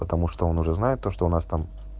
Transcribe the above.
потому что он уже знает то что у нас там